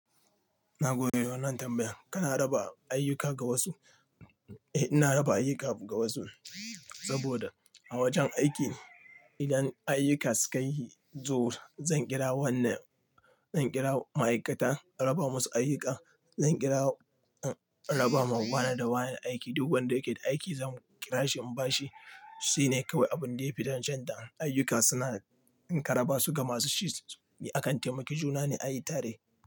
Na gode da wannan tambayan. Kana raba ayyuka ga wasu? Eh, ina raba ayyuka ga wasu saboda a wajen aiki idan ayyuka sukayi zuwa zan kira wannan, zan kira ma'aikata in raba musu ayyuka. Zan kira in raba ma wane da wane aiki. Duk wanda yake da aiki zan kira shi in bashi. Shi ne kawai abun da ya fi dacun da ayyuka suna. In ka raba su ga masu shi, akan taimaki juna ne ayi tare.